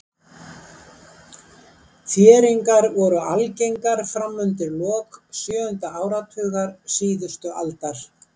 Þéringar voru algengar fram undir lok sjöunda áratugar síðustu aldar.